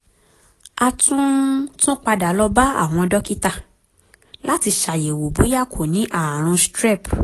a tún tún padà lọ bá àwọn dókítà láti ṣàyẹ̀wò bóyá kò ní ààrùn strep